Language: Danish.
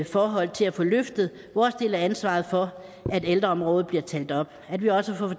forhold til at få løftet vores del af ansvaret for at ældreområdet bliver talt op at vi også får